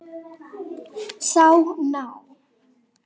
Sá ná